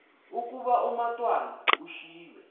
ukuba umatwana ushiywe